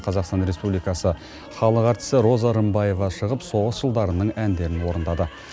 қазақстан республикасы халық әртісі роза рымбаева шығып соғыс жылдарының әндерін орындады